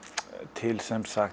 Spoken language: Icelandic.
til